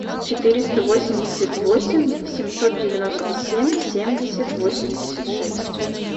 четыреста восемьдесят восемь семьсот девяносто семь семьдесят восемьдесят шесть